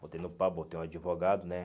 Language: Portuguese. Botei no pau, botei um advogado, né?